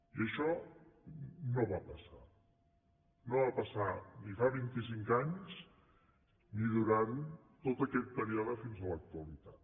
i això no va passar no va passar ni fa vint i cinc anys ni durant tot aquest període fins a l’actualitat